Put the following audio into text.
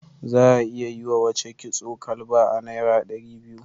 Za a iya yi wace kitson kalba a naira ɗari biyu.